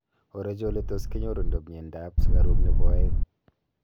orochu oletus kenyorundo miando ap sugaruk nepo aeng